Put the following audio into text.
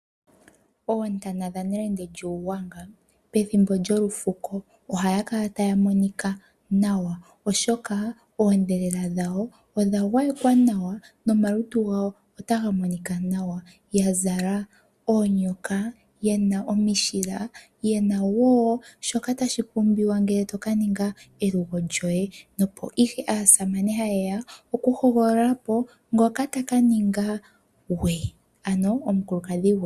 Ontana dha nelenge lyuugwanga pethimbo lyolufuko ohadhi kala tadhi monika nawa, oshoka oodhelela dhawo odha gwayekwa nawa nomalutu gawo otaga monika nawa, ya zala oonyoka, yena omishila, yena wo shoka tashi pumbiwa oku ka ninga elugo lyoye. Opo ihe aasamane mba yeya oku hogolola po ngoka taka ninga ngwe , ano omukulukadhi gwe.